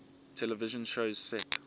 television shows set